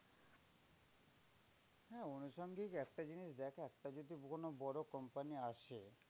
হ্যাঁ আনুষঙ্গিক একটা জিনিস দেখ একটা যদি কোনো বড় company আসে